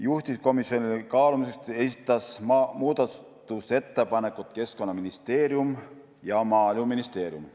Juhtivkomisjonile kaalumiseks esitasid muudatusettepanekuid Keskkonnaministeerium ja Maaeluministeerium.